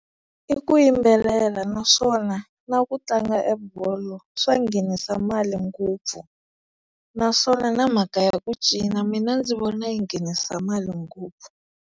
I ku yimbelela naswona na ku tlanga bolo swa nghenisa mali ngopfu naswona na mhaka ya ku cina mina ndzi vona yi nghenisa mali ngopfu.